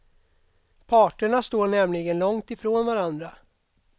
Parterna står nämligen långt ifrån varandra.